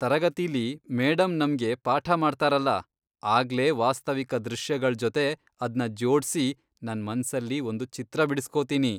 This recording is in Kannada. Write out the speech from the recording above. ತರಗತಿಲಿ ಮೇಡಂ ನಮ್ಗೆ ಪಾಠ ಮಾಡ್ತಾರಲ, ಆಗ್ಲೇ ವಾಸ್ತವಿಕ ದೃಶ್ಯಗಳ್ ಜೊತೆ ಅದ್ನ ಜೋಡ್ಸಿ ನನ್ ಮನ್ಸಲ್ಲಿ ಒಂದು ಚಿತ್ರ ಬಿಡಿಸ್ಕೊತೀನಿ.